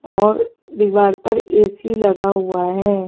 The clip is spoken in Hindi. और दीवार पर ए_सी लगा हुआ है।